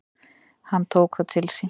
Hann tók það til sín: